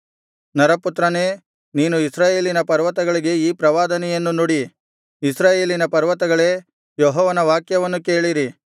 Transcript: ನರಪುತ್ರನೇ ನೀನು ಇಸ್ರಾಯೇಲಿನ ಪರ್ವತಗಳಿಗೆ ಈ ಪ್ರವಾದನೆಯನ್ನು ನುಡಿ ಇಸ್ರಾಯೇಲಿನ ಪರ್ವತಗಳೇ ಯೆಹೋವನ ವಾಕ್ಯವನ್ನು ಕೇಳಿರಿ